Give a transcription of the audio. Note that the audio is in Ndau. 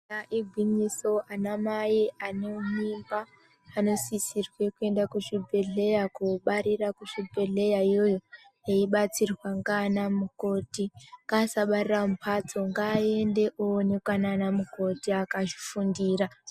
Rona igwinyiso anamai ane mimba anosisirwe kuenda kuzvibhedhlera kobarire kuzvibhedhlera iyoyo eibatsirwa ngana mukoti, ngaasabarora mumhatso ngaaende oonekwa nana mukoti akazvifundira.